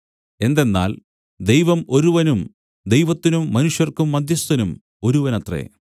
എന്തെന്നാൽ ദൈവം ഒരുവനും ദൈവത്തിനും മനുഷ്യർക്കും മദ്ധ്യസ്ഥനും ഒരുവനത്രേ